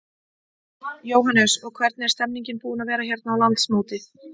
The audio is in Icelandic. Jóhannes: Og hvernig er stemmningin búin að vera hérna á landsmóti?